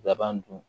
Laban dun